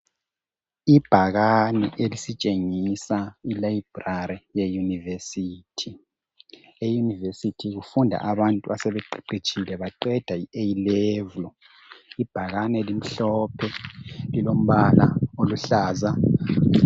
Ibhakani elisitshengisa I 'library ' yeyunivesithi. Eyunivesithi kufunda abantu abaseqeqetshile baqeda I 'A'level'. Ibhakani limhlophe lilombala oluhlaza.